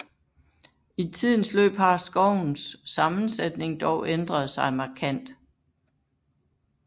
I tidens løb har skovens sammensætning dog ændret sig markant